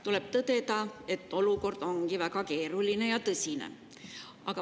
Tuleb tõdeda, et olukord ongi väga keeruline ja tõsine.